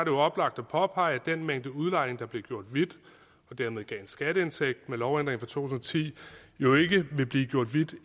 jo oplagt at påpege at den mængde udlejning der blev gjort hvid og dermed gav en skatteindtægt med lovændringen tusind og ti jo ikke vil blive gjort hvid